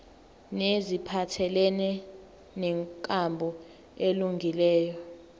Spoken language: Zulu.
neziphathelene nenkambo elungileyo